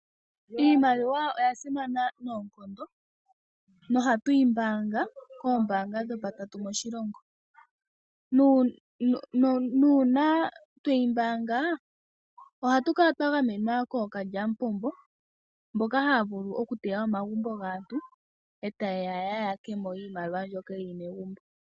Iimaliwa oya simana noonkondo nohatu yi mbaanga koombaanga dhopatatu moshilongo. Uuna tweyi mbaanga ohatu kala twa gamenwa kookalyamupombo mboka haya vulu okuteya omagumbo gaantu e taye ya ya yake mo iimaliw ambyoka yi li megumbo.